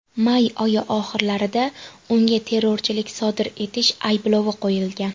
May oyi oxirlarida unga terrorchilik sodir etish ayblovi qo‘yilgan.